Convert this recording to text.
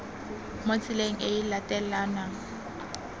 mo tseleng e e latelanang